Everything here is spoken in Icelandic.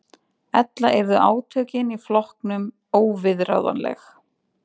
Ella yrðu átökin í flokknum óviðráðanleg